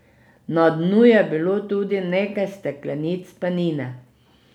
Na dnu je bilo tudi nekaj steklenic penine...